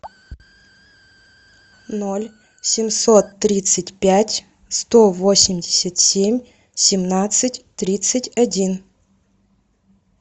ноль семьсот тридцать пять сто восемьдесят семь семнадцать тридцать один